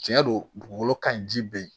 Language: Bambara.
Tiɲɛ don dugukolo ka ɲi ji bɛ yen